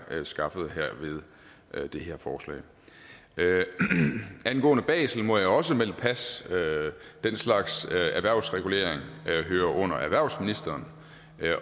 skaffet ved det her forslag angående basel må jeg også melde pas den slags erhvervsregulering hører under erhvervsministeren